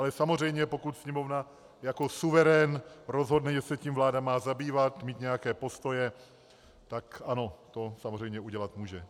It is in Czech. Ale samozřejmě pokud Sněmovna jako suverén rozhodne, že se tím vláda má zabývat, mít nějaké postoje, tak ano, to samozřejmě udělat může.